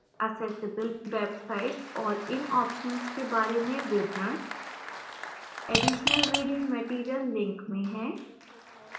accessible websites और इन options के बारे में विवरण additional reading material link में हैं